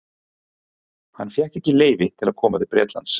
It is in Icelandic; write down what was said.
Hann fékk ekki leyfi til að koma til Bretlands.